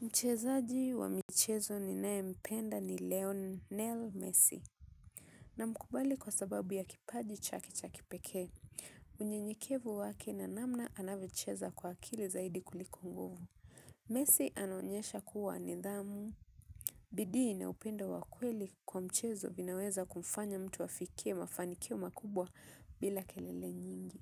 Mchezaji wa michezo ninaye mpenda ni Lionel. Messi. Na mkubali kwa sababu ya kipaji chake cha kipekee. Unyenyekevu wake na namna anavyo cheza kwa akili zaidi kuliko nguvu. Messi anonyesha kuwa nidhamu. Bidii na upendo wa kweli kwa mchezo vinaweza kumfanya mtu afikie mafanikio makubwa bila kelele nyingi.